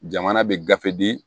Jamana bɛ gafe di